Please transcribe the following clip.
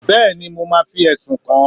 bẹẹni mo ma fí esún kán